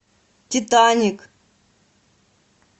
титаник